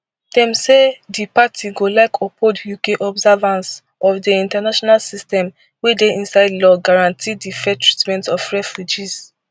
dem say di party go like uphold uk observance of di international system wey inside law guarantee di fair treatment of refugees